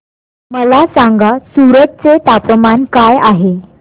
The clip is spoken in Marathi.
मला सांगा सूरत चे तापमान काय आहे